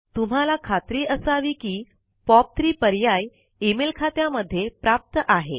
तुम्हाला खात्री असावी कि पॉप3 पर्याय इमेल खात्यामध्ये प्राप्त आहे